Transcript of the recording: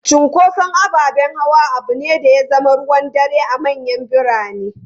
Cunkoson ababen hawa abu ne da ya zama ruwan dare a manyan birane.